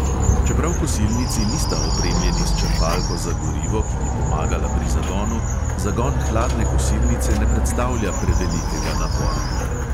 Čeprav kosilnici nista opremljeni s črpalko za gorivo, ki bi pomagala pri zagonu, zagon hladne kosilnice ne predstavlja prevelikega napora.